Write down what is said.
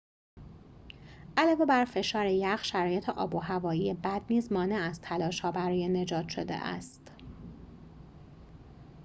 علاوه بر فشار یخ شرایط آب و هوایی بد نیز مانع از تلاش‌ها برای نجات شده است